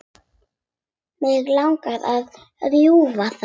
Mig langar að rjúfa það.